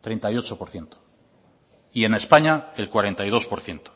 treinta y ocho por ciento y en españa el cuarenta y dos por ciento